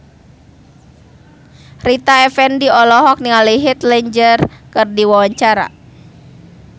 Rita Effendy olohok ningali Heath Ledger keur diwawancara